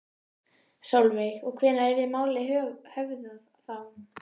Sólveig: Og hvenær yrði málið höfðað þá?